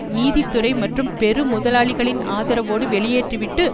நீதித்துறை மற்றும் பெரு முதலாளிகளின் ஆதரவோடு வெளியேற்றிவிட்டு